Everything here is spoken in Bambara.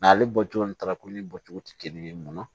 N'ale bɔcogo ni talakoli bɔcogo tɛ kelen ye mun na